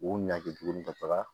U ɲage tuguni ka taga